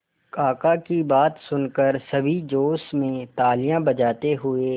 काका की बात सुनकर सभी जोश में तालियां बजाते हुए